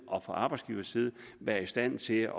og arbejdsgiverside være i stand til